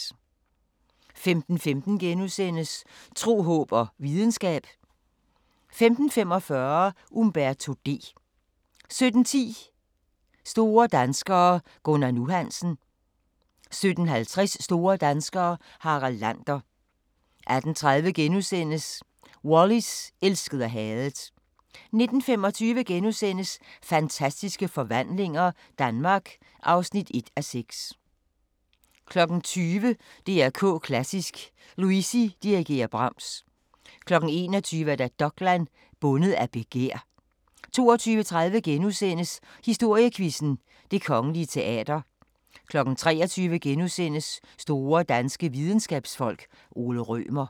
15:15: Tro, håb og videnskab * 15:45: Umberto D 17:10: Store danskere - Gunnar "Nu" Hansen 17:50: Store danskere - Harald Lander 18:30: Wallis – elsket og hadet * 19:25: Fantastiske forvandlinger – Danmark (1:6)* 20:00: DR K Klassisk: Luisi dirigerer Brahms 21:00: Dokland: Bundet af begær 22:30: Historiequizzen: Det Kongelige Teater * 23:00: Store danske videnskabsfolk: Ole Rømer *